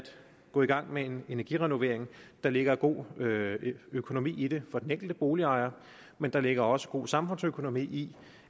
gå i gang med en energirenovering der ligger god økonomi i det for den enkelte boligejer men der ligger også god samfundsøkonomi i